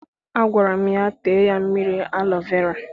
Agwara m ya, tee ya mmiri alọ vera!